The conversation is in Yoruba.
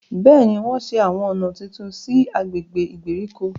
Béèni, wọn ṣe awọn ọna títún sí i agbègbè ìgbèríko